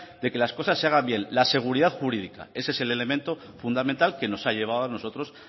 de que las cosas se hagan bien la seguridad jurídica esa es el elemento fundamental que nos ha llevado a nosotros